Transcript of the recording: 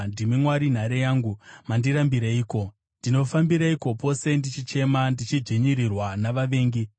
Ndimi Mwari nhare yangu. Mandirambireiko? Ndinofambireiko pose ndichichema ndichidzvinyirirwa navavengi?